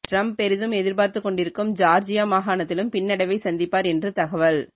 Trump பெரிதும் எதிர்பார்த்து கொண்டிருக்கும் ஜார்ஜியா மாகாணத்திலும் பின்னடைவை சந்திப்பார் என்று தகவல்